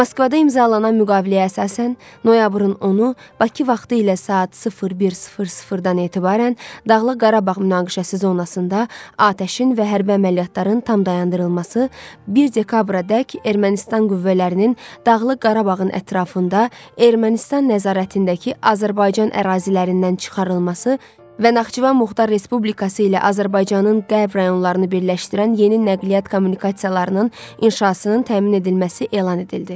Moskvada imzalanan müqaviləyə əsasən, noyabrın 10-u Bakı vaxtı ilə saat 01:00-dan etibarən Dağlıq Qarabağ münaqişəsi zonasında atəşin və hərbi əməliyyatların tam dayandırılması, 1 dekabradək Ermənistan qüvvələrinin Dağlıq Qarabağın ətrafında Ermənistan nəzarətindəki Azərbaycan ərazilərindən çıxarılması və Naxçıvan Muxtar Respublikası ilə Azərbaycanın qərb rayonlarını birləşdirən yeni nəqliyyat kommunikasiyalarının inşasının təmin edilməsi elan edildi.